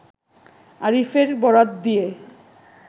আরিফের বরাত দিয়ে